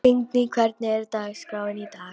Lingný, hvernig er dagskráin í dag?